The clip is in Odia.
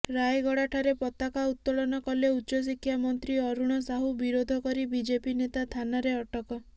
ରାୟଗଡାଠାରେ ପତାକା ଉତ୍ତୋଳନ କଲେ ଉଚ୍ଚଶିକ୍ଷା ମନ୍ତ୍ରୀ ଅରୁଣ ସାହୁ ବିରୋଧ କରି ବିଜେପି ନେତା ଥାନାରେ ଅଟକ